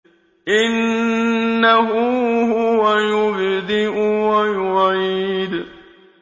إِنَّهُ هُوَ يُبْدِئُ وَيُعِيدُ